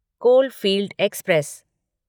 coalfield express